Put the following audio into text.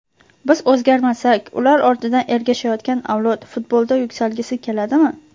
Biz o‘zgarmasak, ular ortidan ergashayotgan avlod futbolda yuksalgisi keladimi?